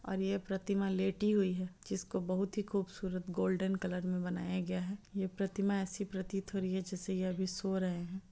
और ये प्रतिमा लेटी हुई है जिसको बहुत ही खूबसूरत गोल्डन कलर मे बनाया गया है ये प्रतिमा एसी प्रतीत हो रही है जैसे यह अभी सो रहें हैं।